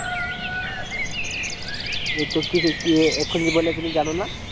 এই তো কি কিসের কি এ এক্ষুনি বললে যে তুমি জানোনা